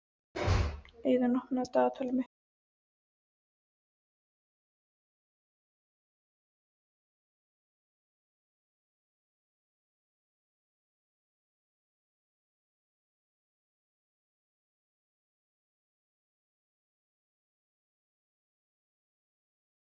Hana langar stundum til að deyja.